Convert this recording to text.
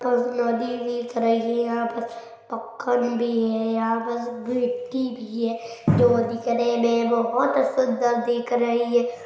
नदी दिख रही है यह पर पखकन भी है यहाँ पस गिट्टी भी है जो दिखने मे बहुत सुन्दर दिख रही हैं।